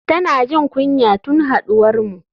Tana jin kunya tun haduwarmu.